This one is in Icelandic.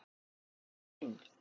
Hvernig komst hann inn?